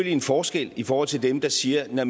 en forskel i forhold til dem der siger